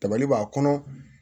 Tabali b'a kɔnɔ